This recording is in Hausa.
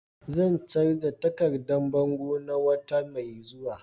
Zan canza takardan bango na wata mai zuwa.